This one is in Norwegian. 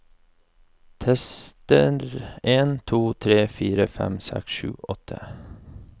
Tester en to tre fire fem seks sju åtte